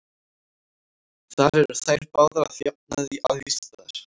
Þar eru þær báðar að jafnaði æðstar.